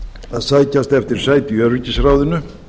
að sækjast eftir sæti í öryggisráðinu